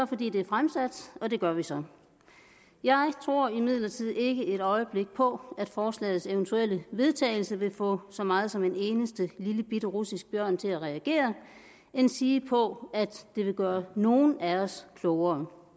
fordi det er fremsat og det gør vi så jeg tror imidlertid ikke et øjeblik på at forslagets eventuelle vedtagelse vil få så meget som en eneste lillebitte russisk bjørn til at reagere endsige på at det vil gøre nogen af os klogere